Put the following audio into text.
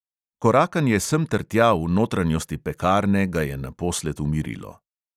Korakanje semtertja v notranjosti pekarne ga je naposled umirilo.